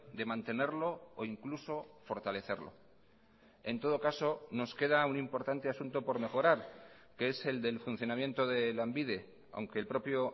de mantenerlo o incluso fortalecerlo en todo caso nos queda un importante asunto por mejorar que es el del funcionamiento de lanbide aunque el propio